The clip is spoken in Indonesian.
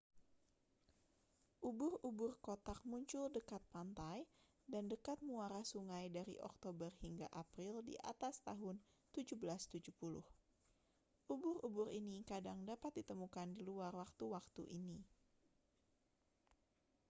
ubur-ubur kotak muncul dekat pantai dan dekat muara sungai dari oktober hingga april di atas tahun 1770 ubur-ubur ini kadang dapat ditemukan di luar waktu-waktu ini